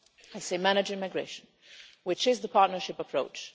I say managing migration, which is the partnership approach.